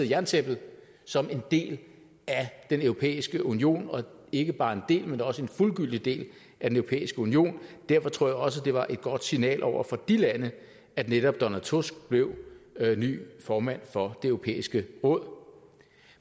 af jerntæppet som en del af den europæiske union og ikke bare en del men også en fuldgyldig del af den europæiske union derfor tror jeg også det var et godt signal over for de lande at netop donald tusk blev ny formand for det europæiske råd